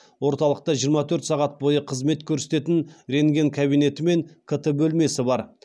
орталықта жиырма төрт сағат бойы қызмет көрсететін рентген кабинеті мен кт бөлмесі бар